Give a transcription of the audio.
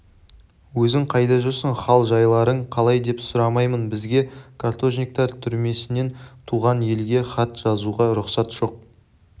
өзің қайда жүрсің хал-жайларың қалай деп сұрамаймын бізге каторжниктер түрмесінен туған елге хат жазуға рұқсат жоқ